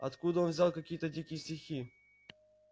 откуда он взял какие-то дикие стихи